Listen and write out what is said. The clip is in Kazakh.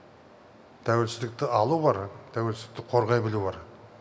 тәуелсіздікті алу бар тәуелсіздікті қорғай білу бар